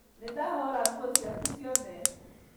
Nĩndahũra nguo ciaku ciothe